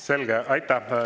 Selge, aitäh!